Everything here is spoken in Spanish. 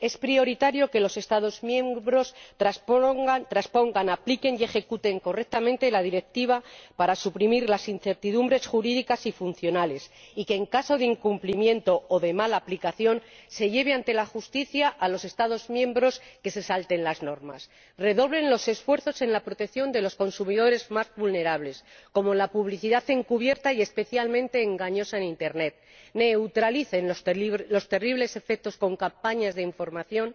Es prioritario que los Estados miembros transpongan, apliquen y ejecuten correctamente la Directiva para suprimir las incertidumbres jurídicas y funcionales y que, en caso de incumplimiento o de mala aplicación, se lleve ante la justicia a los Estados miembros que se salten las normas. Es prioritario asimismo que redoblen los esfuerzos en la protección de los consumidores más vulnerables, entre otros casos, frente a la publicidad encubierta y especialmente engañosa de Internet, y neutralicen sus terribles efectos con campañas de información